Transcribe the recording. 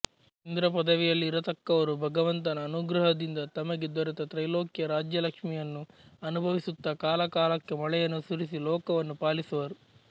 ಇಂದ್ರ ಪದವಿಯಲ್ಲಿರತಕ್ಕವರು ಭಗವಂತನ ಅನುಗ್ರಹದಿಂದ ತಮಗೆ ದೊರೆತ ತ್ರೈಲೋಕ್ಯ ರಾಜ್ಯಲಕ್ಷ್ಮಿಯನ್ನು ಅನುಭವಿಸುತ್ತ ಕಾಲಕಾಲಕ್ಕೆ ಮಳೆಯನ್ನು ಸುರಿಸಿ ಲೋಕವನ್ನು ಪಾಲಿಸುವರು